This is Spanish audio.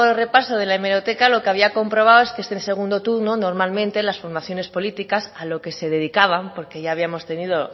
repaso de la hemeroteca lo que había comprobado es que este segundo turno normalmente las formaciones políticas a lo que se dedicaban porque ya habíamos tenido